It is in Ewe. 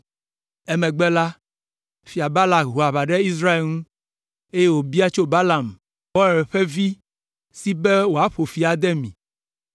Emegbe la, Fia Balak ho aʋa ɖe Israel ŋu, eye wòbia tso Balaam, Beor ƒe vi, si be wòaƒo fi ade mi,